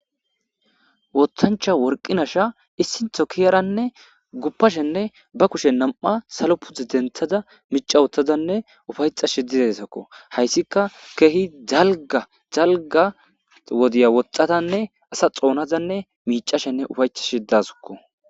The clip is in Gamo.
wothancha worqinasha issintho kiyaranne guppashenne ba kushe nam7a salo pute denthaza mica wuthazanne ufayca shidideesakko hayssika keehi zalga zalga wodiya woxxatanne asa xoonazanne miicashenne ufayca shidasukko